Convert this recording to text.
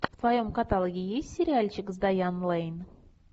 в твоем каталоге есть сериальчик с дайан лэйн